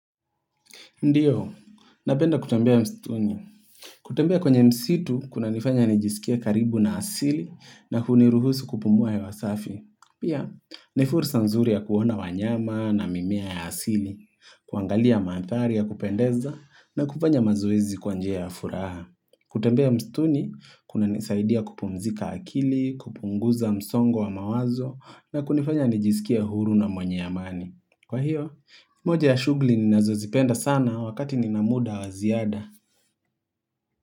Ndiyo, napenda kutembea mstuni. Kutembea kwenye msitu, kunanifanya nijisikia karibu na asili na huniruhusu kupumua hwa safi. Pia, ni fursa nzuri ya kuona wanyama na mimea ya asili, kuangalia maathari ya kupendeza na kupanya mazoezi kwa njia ya furaha. Kutembea mstuni, kunanisaidia kupumzika akili, kupunguza msongo wa mawazo na kunifanya nijisikia huru na mwenye amani. Kwa hiyo, moja ya shugli ninazozipenda sana wakati nina muda wa ziada.